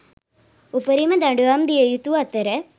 උපරිම දඩුවම් දිය යුතු අතර